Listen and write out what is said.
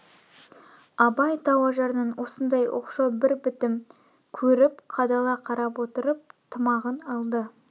абай тау ажарынан осындай оқшау бір бітім көріп қадала қарап отырып тымағын алды